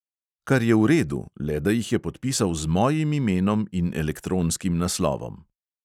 Kar je v redu, le da jih je podpisal z mojim imenom in elektronskim naslovom.